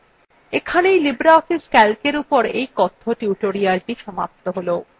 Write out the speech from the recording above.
এখানেই libreoffice calcএর এই কথ্য tutorialthe সমাপ্ত হল